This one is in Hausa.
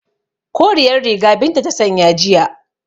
Koriyar riga Binta ta sanya jiya